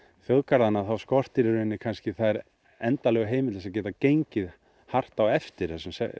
þjóðgarðana skortir í rauninni þær endanlegu heimildir til að geta gengið hart á eftir